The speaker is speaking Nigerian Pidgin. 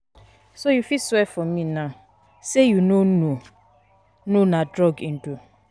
So you fit swear for me now say you no no know na drug he do?